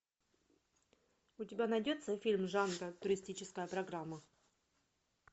у тебя найдется фильм жанра туристическая программа